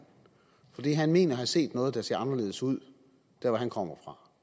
fordi han mener at have set noget der ser anderledes ud der hvor han kommer